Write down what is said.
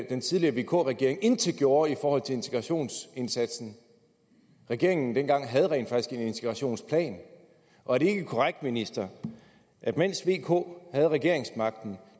den tidligere vk regering intet gjorde i forhold til integrationsindsatsen regeringen dengang havde rent faktisk en integrationsplan og er det ikke korrekt ministeren at mens v og k havde regeringsmagten